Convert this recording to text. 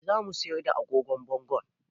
Eh za mu siyar da agogon bangonmu